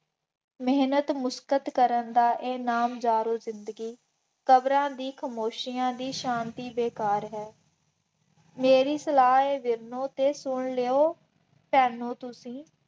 ਮਿਹਨਤ ਮੁਸ਼ੱਕਤ ਕਰਨ ਦਾ ਇਹ ਨਾਮ ਯਾਰੋ ਜ਼ਿੰਦਗੀ, ਕਬਰਾਂ ਦੀ ਖਾਮੋਸ਼ੀਆਂ ਦੀ ਸ਼ਾਂਤੀ ਬੇਕਾਰ ਹੈ, ਮੇਰੀ ਸਲਾਹ ਹੈ ਦਿਲ ਨੂੰ ਜੇ ਸੁਣ ਲਿਉ, ਭੈਣੋ ਤੁਸੀਂ